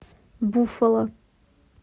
буффало